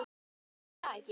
Já, var það ekki!